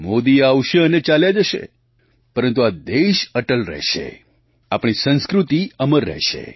મોદી આવશે અને ચાલ્યા જશે પરંતુ આ દેશ અટલ રહેશે આપણી સંસ્કૃતિ અમર રહેશે